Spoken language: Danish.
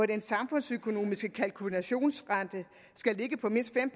den samfundsøkonomiske kalkulationsrente skal ligge på mindst fem